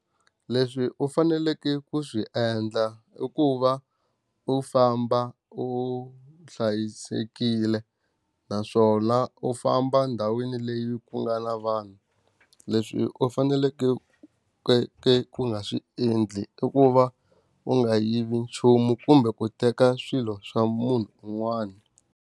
Leswi u faneleke ku swi endla i ku va u famba u hlayisekile, naswona u famba ndhawini leyi ku nga na vanhu. Leswi u faneleke ku ka ku nga swi endli i ku va, u nga yivi nchumu kumbe ku teka swilo swa munhu un'wana.